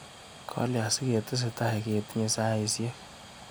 Kalia siketesetai ketinye saisiek.